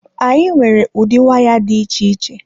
Anyị nwere ụdị waya dị iche iche.